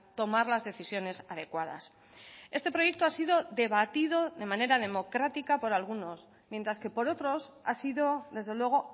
tomar las decisiones adecuadas este proyecto ha sido debatido de manera democrática por algunos mientras que por otros ha sido desde luego